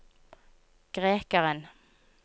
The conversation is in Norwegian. grekeren